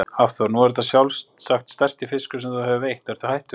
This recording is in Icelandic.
Hafþór: Nú er þetta sjálfsagt stærsti fiskur sem þú hefur veitt, ertu hættur?